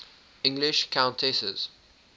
english countesses